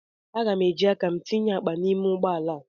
Aga m eji aka m tinye akpa m n'ime ụgbọ ala